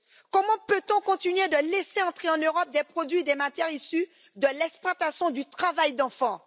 Comment peut on continuer de laisser entrer en Europe des produits de matières issues de l'exploitation du travail d'enfants?